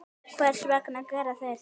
Hvers vegna gera þeir það?